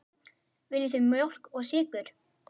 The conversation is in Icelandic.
Viljið þið mjólk og sykur?